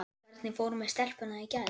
Hvernig fór með stelpuna í gær?